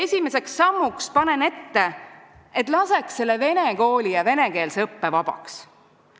Esimeseks sammuks panen ette, et laseks selle vene kooli ja venekeelse õppe vabaks.